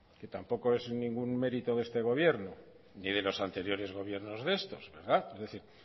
que tampoco es ningún mérito de este gobierno ni de los anteriores gobiernos de estos verdad es decir